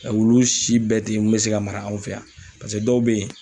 Ɛ wulusi bɛɛ te yen mun be se ka mara anw fɛ yan paseke dɔw be yen